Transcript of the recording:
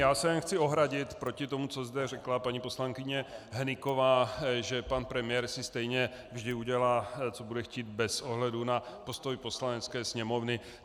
Já se jen chci ohradit proti tomu, co zde řekla paní poslankyně Hnyková, že pan premiér si stejně vždy udělá, co bude chtít, bez ohledu na postoj Poslanecké sněmovny.